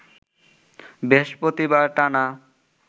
বৃহস্পতিবার টানা